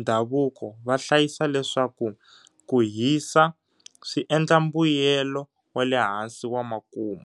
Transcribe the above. ndhavuko vahlayisa leswaku kuhisa swiendla mbuyelo wale hansi wa makumu.